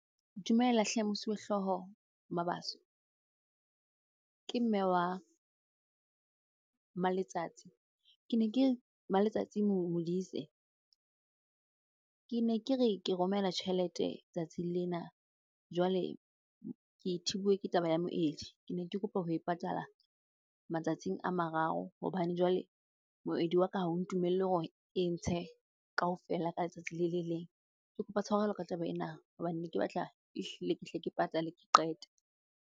Dumela hle Mosuwehlooho Mabaso. Ke mme wa Maletsatsi. Ke ne ke, Maletsatsi Modise. Ke ne ke re, ke romela tjhelete tsatsing lena jwale ke thibuwe ke taba ya moedi. Ke ne ke kopa ho e patala matsatsing a mararo hobane jwale moedi wa ka ha o ntumelle hore e ntshe kaofela ka letsatsi le le leng. Ke kopa tshwarelo ka taba ena hobane ne ke batla ehlile ke hle ke patale, ke qete.